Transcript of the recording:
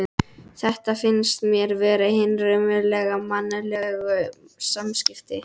Þetta finnst mér vera hin raunverulegu mannlegu samskipti.